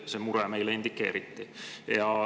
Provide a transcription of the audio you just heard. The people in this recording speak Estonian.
See mure meile indikeeriti.